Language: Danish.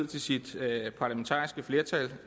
til sit parlamentariske flertal